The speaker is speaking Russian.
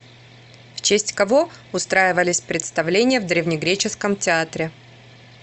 в честь кого устраивались представления в древнегреческом театре